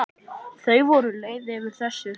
Þau voru leið yfir þessu.